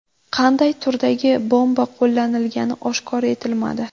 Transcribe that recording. Qanday turdagi bomba qo‘llanilgani oshkor etilmadi.